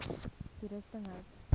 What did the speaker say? toerusting hout